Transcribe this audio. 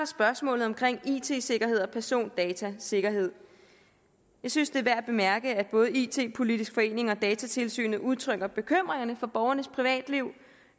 spørgsmålet om it sikkerhed og persondatasikkerhed jeg synes det er værd at bemærke at både it politisk forening og datatilsynet udtrykker bekymring for borgernes privatliv